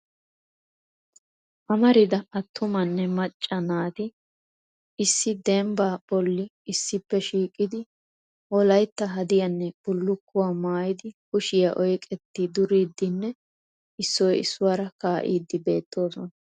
Amarida attumanne macca maati issi dbba bolla issippe shiiqidi wolaytta hadiyanne bullukkuwaa maayyidi kushiya oyqqeti duridinne issoy issuwaara kaa'ide beettoosona.